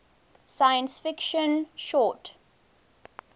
science fiction short